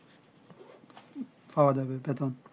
riletitive